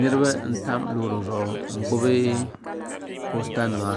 niriba n tami lori zuɣ' ŋɔ ka be gbabi posita nima